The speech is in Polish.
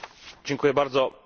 Panie Przewodniczący!